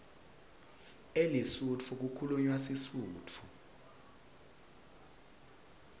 elesotho kukhulunywa sisutfu